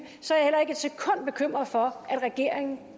er bekymret for at regeringen